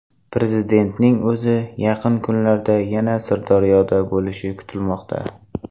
Prezidentning o‘zi yaqin kunlarda yana Sirdaryoda bo‘lishi kutilmoqda.